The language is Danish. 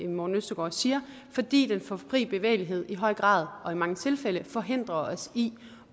morten østergaard siger fordi den for frie bevægelighed i høj grad og i mange tilfælde forhindrer os i